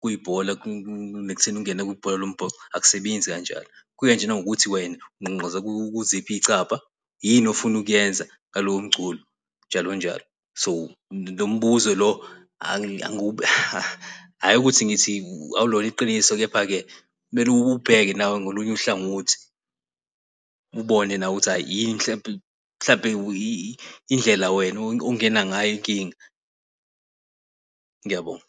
kuyibhola kunakutheni ungene kwibhola lombhoxo ayisebenzi kanjalo. Kukanjena kungukuthi wena ungqongqoza kuziphi iy'cabha yini ofuna ukuyenza ngalowo mculo, njalo njalo. So lo mbuzo lo hhayi ukuthi ngithi akulona iqiniso. Kepha-ke kumele ubheke nawe, ngakolunye uhlangothi, ubone nawe ukuthi yini mhlawumbe mhlawumbe indlela wena ongena ngayo inkinga. Ngiyabonga.